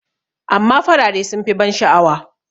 amma farare sun fi ban sha'awa